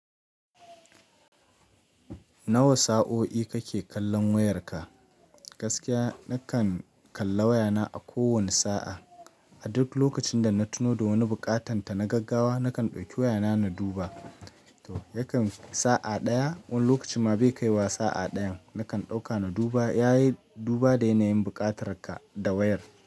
Nawa sa'o'i kake kallon wayarka? Gaskiya nakan kalla wayana a kowane sa'a. A duk lokacin da na tuno da wani buƙatanta na gaggawa, nakan ɗauki wayana na duba. Yakan fi sa'a ɗaya wani lokacin ma bai kai wa sa'a ɗayan, nakan ɗauka na duba. Yayi duba da yanayin buƙatarka da wayar.